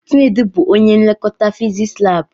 Chinedu bụ ónyé nlekọta fiziks lab.